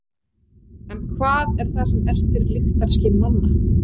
En hvað er það sem ertir lyktarskyn manna?